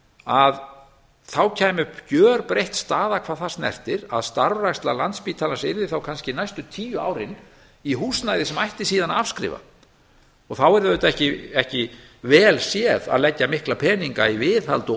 að þá kæmi upp gjörbreytt staða hvað það snertir að starfræksla landspítalans yrði þá kannski næstu tíu árin í húsnæði sem ætti síðan að afskrifa þá yrðu auðvitað ekki vel séð að leggja mikla peninga í viðhald og